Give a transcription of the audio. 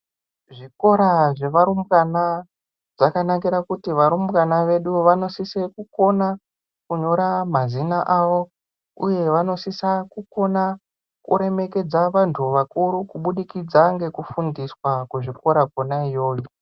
Zvikora zveva rumbwana zvakanakira kuti varumbwana vedu vanosisa kukona kunyora mazina awo uye vanosisa kukona kuremekedza vantu vakuru kubudikidza ngekufundiswa kuzvikora kwona iyoyo.